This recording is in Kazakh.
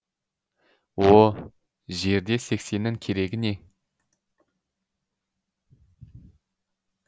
о жерде сексеннің керегі не